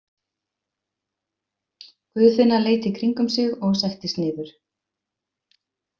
Guðfinna leit í kringum sig og settist niður.